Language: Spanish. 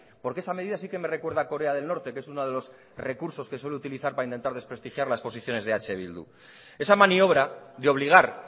porque esa medida sí que me recuerda a corea del norte que es uno de los recursos que suele utilizar para intentar desprestigiar las posiciones de eh bildu esa maniobra de obligar